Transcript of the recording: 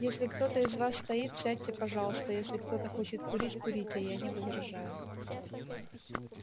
если кто-то из вас стоит сядьте пожалуйста если кто-то хочет курить курите я не возражаю